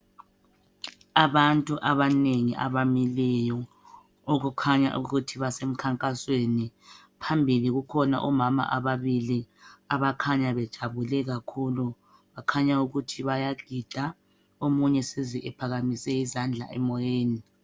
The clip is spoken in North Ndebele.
Abantu abanengi abamileyo okukhanya ukuthi basemkhankasweni, phambili kukhona omama ababili abakhanya bejabule kakhulu bakhanya ukuthi bayagida omunye eseze ephakamise izandla emoyeni.